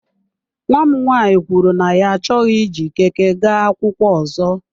Nnwa m nwanyị kwuru na ya achọghị iji Keke gaa akwụkwọ ọzọ.